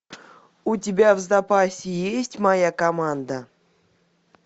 у тебя в запасе есть моя команда